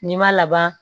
N'i ma laban